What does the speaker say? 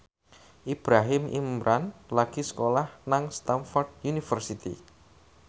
Ibrahim Imran lagi sekolah nang Stamford University